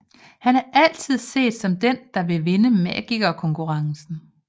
Han er altid set som den der vil vinde Magikerkonkurrencen